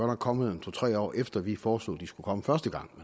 nok kommet to tre år efter at vi foreslog de skulle komme første gang